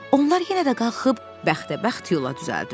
Onlar yenə də qalxıb bəxtəbəxt yola düzəldilər.